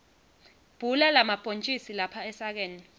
bhula lamabhontjisi lapha esakeni